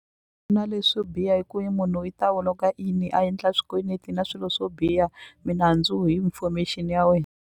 Na leswo biha hi ku yi munhu i ta log-a in a endla swikweleti na swilo swo biha minandzu hi information ya wena.